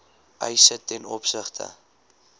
eise ten opsigte